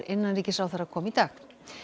innanríkisráðherra kom í dag